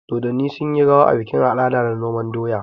Dodonni sunyi rawa a bikin al'ada na noman doya.